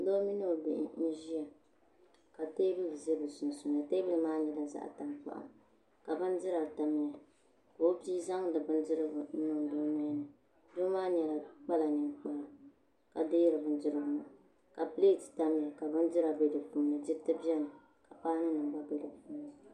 Doo mini o bihi n ʒiya ka teebuli ʒɛ bi sunsuuni teebuli maa nyɛla zaɣ tankpaɣu ka bindira tamya ka o bia zaŋdi bindirigu n niŋdi o nolini doo maa kpala ninkpara ka deeri bindirigu maa ka pileet tamya ka bindira bɛ di puuni diriti biɛni ka paanu nim gba biɛni